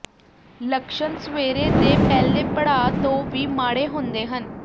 ਲੱਛਣ ਸਵੇਰੇ ਦੇ ਪਹਿਲੇ ਪੜਾਅ ਤੋਂ ਵੀ ਮਾੜੇ ਹੁੰਦੇ ਹਨ